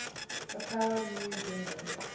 papua new guinean